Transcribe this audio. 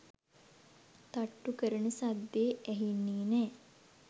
තට්ටු කරන සද්දෙ ඇහෙන්නේ නෑ”.